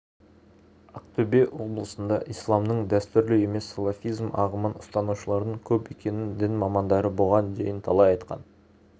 ақтөбе облысында исламның дәстүрлі емес салафизм ағымын ұстанушылардың көп екенін дін мамандары бұған дейін талай айтқан